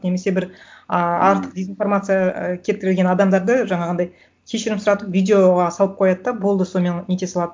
немесе бір ыыы артық дезинформация і келтірілген адамдарды жаңағындай кешірім сұратып видеоға салып қояды да болды сонымен нете салады